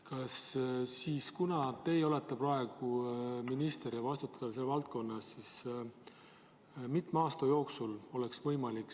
Mitme aasta jooksul oleks võimalik korraldada üleminek, et eestikeelse alushariduse võimalus oleks igal pool olemas?